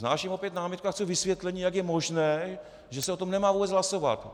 Vznáším opět námitku a chci vysvětlení, jak je možné, že se o tom nemá vůbec hlasovat.